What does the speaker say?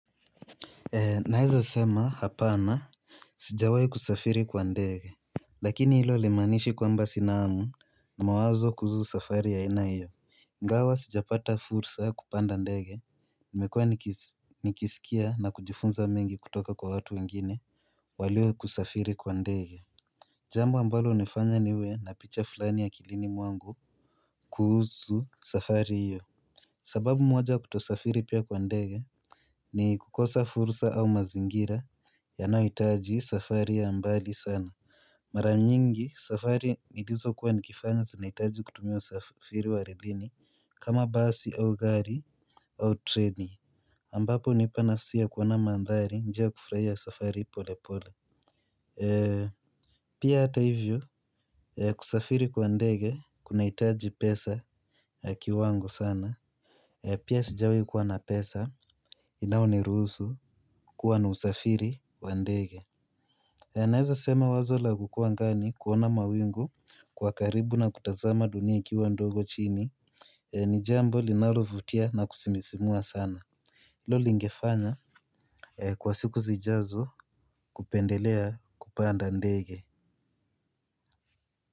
Naweza sema hapana. Sijawahi kusafiri kwa ndege. Lakini hilo halimaanishi kwamba sina hamu. Mawazo kuhusu safari ya haina hiyo ingawa sijapata fursa ya kupanda ndege nimekuwa nikisikia na kujifunza mengi kutoka kwa watu wengine walio kusafiri kwa ndege. Jambo ambalo hunifanya niwe na picha fulani akilini mwangu kuhusu safari hiyo. Sababu moja ya kutosafiri pia kwa ndege ni kukosa fursa au mazingira yanayohitaji safari ya mbali sana. Mara nyingi, safari nilizo kuwa nikifanya zinahitaji kutumia usafiri wa ardhini kama basi au gari au treni ambapo hunipa nafasi ya kuona mandhari njia ya kufurahia safari pole pole. Pia hata hivyo, kusafiri kwa ndege kunahitaji pesa ya kiwango sana. Pia sijawahi kuwa na pesa inayoniruhusu kuwa na usafiri wa ndege. Naweza sema wazol a kukuwa angani kuona mawingu kwa karibu na kutazama dunai ikiwa ndogo chini. Ni jambo linao vutia na kusisimua sana. Hilo lingefanya kwa siku zijazo kupendelea kupanda ndege.